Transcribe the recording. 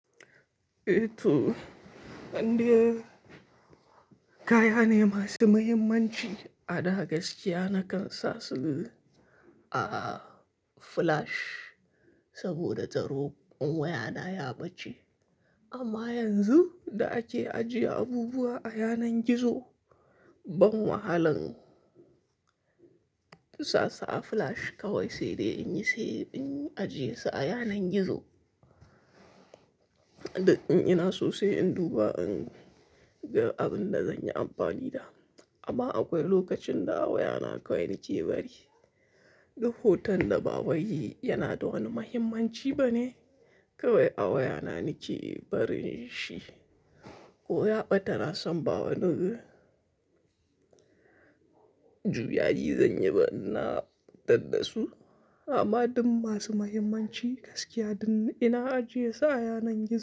Eh to, ande kaya ne masu mahimmanci a da gaskiya nakan sa su a flash saboda tsaro, wayana ya bace. Amma yanzu da ake ajiye abubuwa a yanar gizo, ban wahalan sa su a flash kawai sai dai in yi sai in ajiye su a yanar gizo. Da in ina sosai in duba in ga abin da zanyi amfani da. Amma akwai lokacin da a wayana kawai nake bari. Duk hoton da ba way yana da wani mahimmanci bane kawai a wayana nake barin shi. Ko yaɓa tana son ba wani juyayi zan yi ba ina tadda su. Amma duk masu mahimmanci gaskiya duk ina ajiye su a yanar gizo.